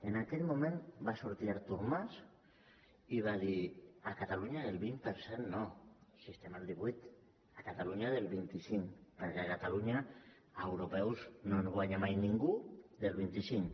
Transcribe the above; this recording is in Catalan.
en aquell moment va sortir artur mas i va dir a catalunya del vint per cent no si estem al divuit a catalunya del vint cinc perquè a catalunya a europeus no ens guanya mai ningú a vint cinc